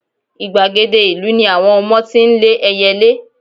igbagede ìlú ni àwọn ọmọ tí n le eyelé